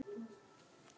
er velt upp.